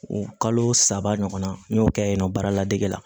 O kalo saba ɲɔgɔn na n y'o kɛ yen nɔ baarada dege la